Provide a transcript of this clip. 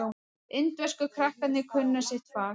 Indversku krakkarnir kunna sitt fag.